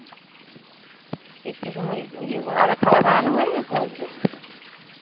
একটু সময় ওই ইয়ে পর~ আর খাওয়ার বানানো হয়ে গেছে আজকের?